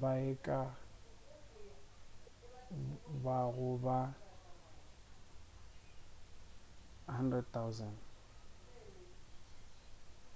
ba e ka bago ba 100,000